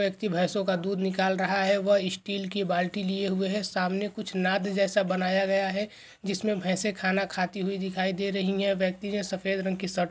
व्यक्ति भैंसों का दूध निकल रहा है वह स्टील की बाल्टी लिए हुए हैं सामने कुछ नाथ जैसा बनाया गया है जिसमें भेंसे खाना खाती हुई दिखाई दे रही है व्यक्ति से सफेद रंग की शर्ट --